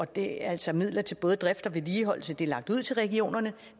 det altså midler til både drift og vedligeholdelse det er lagt ud til regionerne